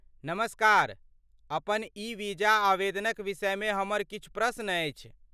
नमस्कार, अपन ई वीजा आवेदनक विषयमे हमर किछु प्रश्न अछि।